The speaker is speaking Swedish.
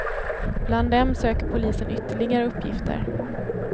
Bland dem söker polisen ytterligare uppgifter.